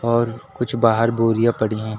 और कुछ बाहर बोरियां पड़ी हैं।